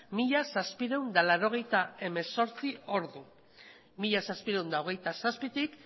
mila zazpiehun eta laurogeita hemezortzi ordu mila zazpiehun eta hogeita zazpitik